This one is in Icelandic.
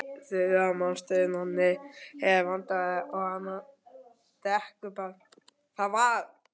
Þura er munsturbarn, Nonni er vandræðabarn og Anna er dekurbarn.